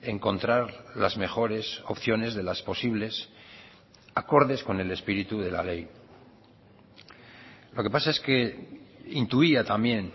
encontrar las mejores opciones de las posibles acordes con el espíritu de la ley lo que pasa es que intuía también